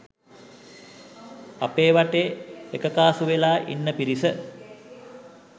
අපේ වටේ එකකාසු වෙලා ඉන්න පිරිස